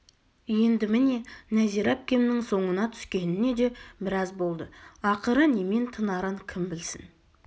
енді міне нәзира әпкемнің соңына түскеніне де біраз болды ақыры немен тынарын кім білсін